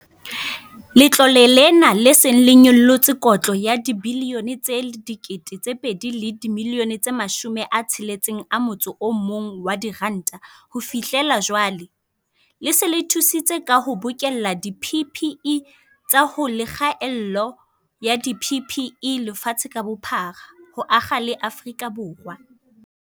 Letlole lena, le seng le nyollotse kotla ya R2.61 bilione ho fihlela jwale, le se le thusitse ka ho bokella di-PPE tsa ho le kgaello ya di-PPE lefatshe ka bophara, ho akga le Afrika Borwa.